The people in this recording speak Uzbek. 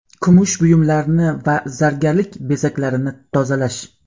Kumush buyumlarni va zargarlik bezaklarini tozalash .